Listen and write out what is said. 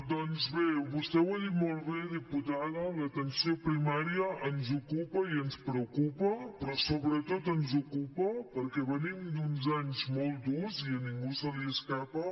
doncs bé vostè ho ha dit molt bé diputada l’atenció primària ens ocupa i ens preocupa però sobretot ens ocupa perquè venim d’uns anys molt durs i a ningú se li escapa